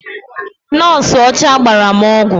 Nọọsụ ọcha gbara m ọgwụ.